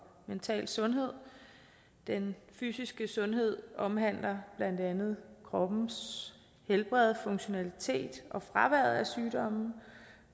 mental sundhed den fysiske sundhed omhandler blandt andet kroppens helbred funktionalitet og fraværet af sygdomme